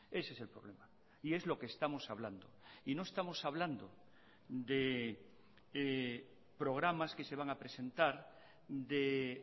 ese es el problema y es lo que estamos hablando y no estamos hablando de programas que se van a presentar de